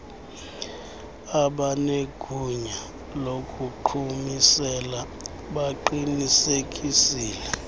abanegunya lokuqhumisela baqinisekisile